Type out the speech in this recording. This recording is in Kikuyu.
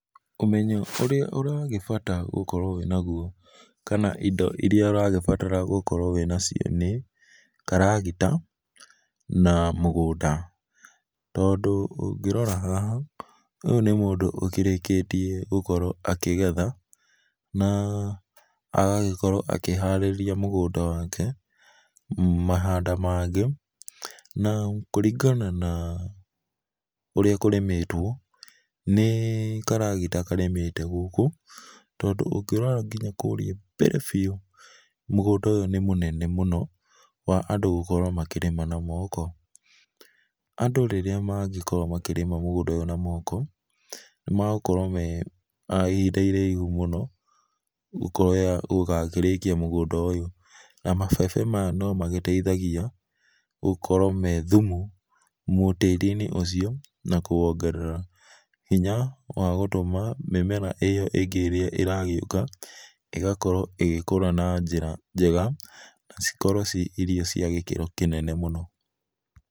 Umenyo ũrĩa ũragĩbata gũkorwo nagũo kana indo iria ũragĩbatara gũkorwo wĩna cio nĩ karagĩta na mũgũnda tondũ ũngĩrora haha ũyũ nĩ mũndũ ũkĩrĩkĩtĩe gũkorwo akĩgetha na agagĩkorwo akĩ harĩrĩa mũgũnda wake, mahanda mangĩ na kũrĩngana na ũrĩa kũrĩmĩtwo nĩ karagĩta karĩmĩte gũkũ tondũ ũngĩrora ngĩnya kũrĩa mbere bĩũ mũgũnda ũyũ nĩ mũnene mũno wa andũ gũkorwo makĩrĩma na moko. Andũ rĩrĩa magĩkorwo makĩrĩma mũgũnda ũyũ na moko nĩ magũkorwo makĩoya ihinda iraihũ mũno gũgakĩrĩkĩa mũgũnda ũyũ na mabebe no magĩteithagĩa gũkorwo me thũmũ tarĩ inĩ ũcio na kũwogerera hĩnya wa gũtũma mĩmera ĩyo ĩngĩ ĩragĩũka ĩgakorwo ĩgĩkũra na njĩra njega na cikorwo ciĩ irio cia gĩkĩro kĩnene mũno